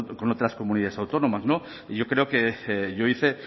con otras comunidades autónomas y yo creo que yo hice